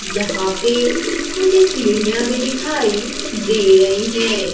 यहां पे कुछ सीढ़ियां भी दिखाई दे रही हैं।